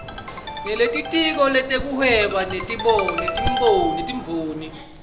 nelitiko letekuhweba netimboni